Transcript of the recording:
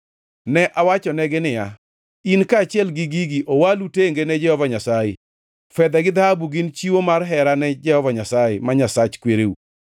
Ne awachonegi niya, “In kaachiel gi gigi owalu tenge ne Jehova Nyasaye. Fedha gi dhahabu gin chiwo mar hera ne Jehova Nyasaye, ma Nyasach kwereu.